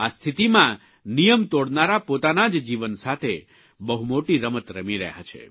આ સ્થિતિમાં નિયમ તોડનારા પોતાના જ જીવન સાથે બહુ મોટી રમત રમી રહ્યા છે